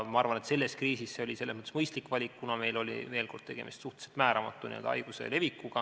Ma arvan, et selles kriisis oli see mõistlik valik, kuna meil on tegemist olnud veel suhteliselt määramatu haiguse levikuga.